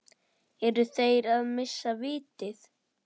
Eru þeir að missa vitið?